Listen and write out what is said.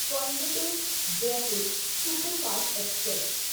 Coimbatore Jaipur superfast express